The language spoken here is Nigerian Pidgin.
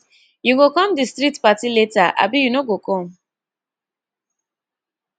you go come di street party later abi you no go come